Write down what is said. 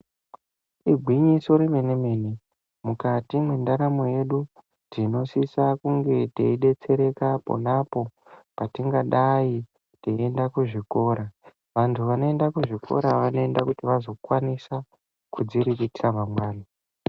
igwinyiso remene mene mukati mendaramo yedu tinosise kunge teidetsereka ponapo patienge teiende kuzvikora vantu vanoende kuzvikora vanokwanisa kuzviriritira mangwani.